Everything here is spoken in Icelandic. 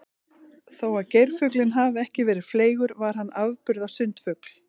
Þó að geirfuglinn hafi ekki verið fleygur var hann afburða sundfugl.